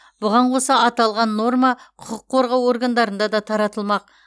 бұған қоса аталған норма құқық қорғау органдарында да таратылмақ